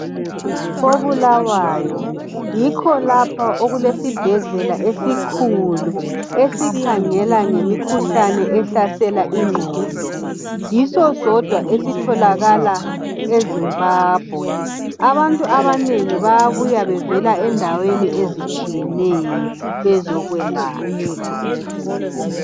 koBulawayo, yikho lapho okulesibhedlela esikhulu esikhangela ngemikhuhlane ehlasela ingqondo. Yiso sodwa esitholakala eZimbabwe. Abantu abanengi bayabuya bevela endaweni ezitshiyeneyo bezokwelatshwa.